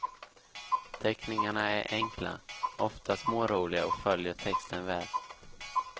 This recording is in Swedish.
Teckningarna är enkla, ofta småroliga och följer texten väl.